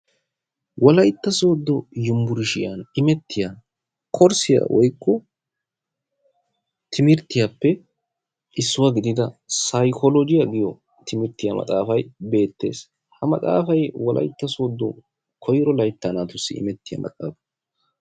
Wolaytta sooddo umburshiyan imettiya korsiya woykko timirtyiyaappe issuwa gidida sayikolojiya giyo timirtiya maxaafay beettees. Ha maxaafay wolayitta soodo koyro layttaa naatussi immettiya maxaafa.